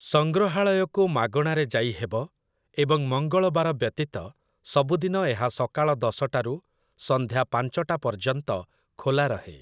ସଂଗ୍ରହାଳୟକୁ ମାଗଣାରେ ଯାଇହେବ, ଏବଂ ମଙ୍ଗଳବାର ବ୍ୟତୀତ ସବୁଦିନ ଏହା ସକାଳ ଦଶଟାରୁ ସନ୍ଧ୍ୟା ପାଞ୍ଚଟା ପର୍ଯ୍ୟନ୍ତ ଖୋଲା ରହେ ।